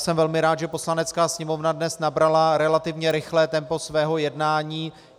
Jsem velmi rád, že Poslanecká sněmovna dnes nabrala relativně rychlé tempo svého jednání.